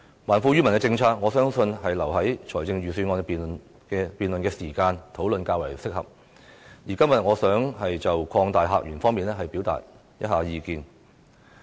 還富於民的政策，我相信留待預算案辯論的時間討論較為適合，而今天我想就擴大客源方面表達意見。